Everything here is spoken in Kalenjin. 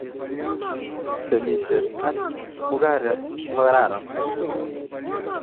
Temishet ak mugaret kokararan